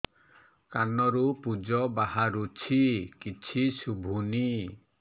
କାନରୁ ପୂଜ ବାହାରୁଛି କିଛି ଶୁଭୁନି